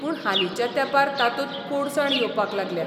पूण हालींच्या तेंपार तातूंत कोडसाण येवपाक लागल्या.